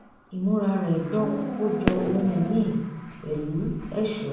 ìmúra rẹ̀ dán kó jọ ohun míì pẹ̀lú ẹ̀ṣọ́